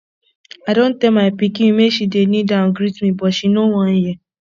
i don tell my pikin make she dey kneel down greet me but she no wan hear